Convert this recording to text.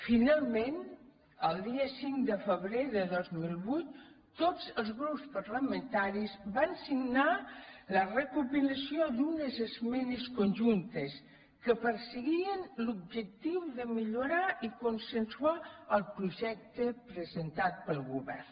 finalment el dia cinc de febrer de dos mil vuit tots els grups parlamentaris van signar la recopilació d’unes esmenes conjuntes que perseguien l’objectiu de millorar i consensuar el projecte presentat pel govern